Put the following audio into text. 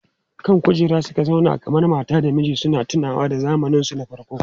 Kan kujera suka zauna kamar mata da miji suna tunowa da zamaninsu na farko.